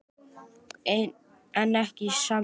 En ekki í Sambíu.